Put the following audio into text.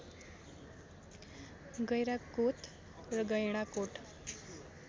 गैंडाकोत र गैंडाकोट